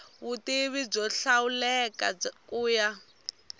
vutivi byo hlawuleka ku ya